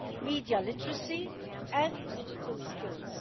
media literacy and digital skills.